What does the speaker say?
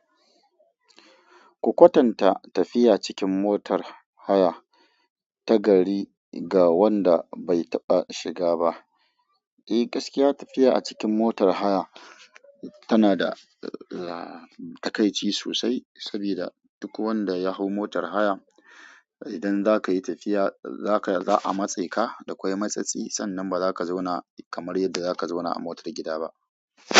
Ku kwatanta tafiya cikin motar haya ta gari ga wanda bai taɓa shiga ba. Eh, gaskiya tafiya a cikin motar haya tana da takaici sosai, saboda duk wanda ya hau motar haya, idan za ka yi tafiya za ka, za a matse ka da kwai matsatsi, sannan ba za ka zauna kamar yadda za ka zauna a motar gida ba.